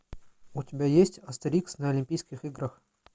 у тебя есть астерикс на олимпийских играх